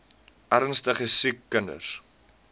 ernstige siek kinders